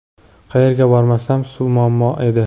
Qayerga bormasam suv muammo edi.